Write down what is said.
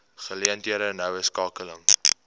geleenthede noue skakeling